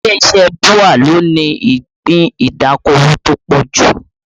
Ilé iṣẹ́ BUA ló ní ìpín ìdókòwò tó pọ̀ jù